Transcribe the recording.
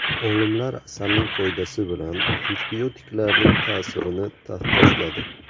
Olimlar asalning foydasi bilan antibiotiklarning ta’sirini taqqosladi.